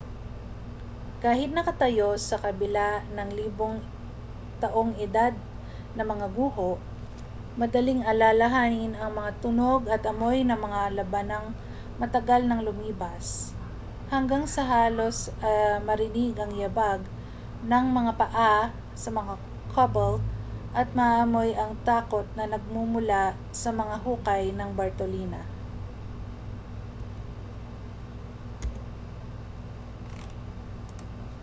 kahit nakatayo sa kabila ng libong taong edad na mga guho madaling alalahanin ang mga tunog at amoy ng mga labanang matagal nang lumipas hanggang sa halos marinig ang yabag ng mga paa sa mga cobble at maamoy ang takot na nagmumula sa mga hukay ng bartolina